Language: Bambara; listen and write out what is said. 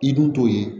I dun t'o ye